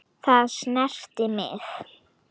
Það snerti mig.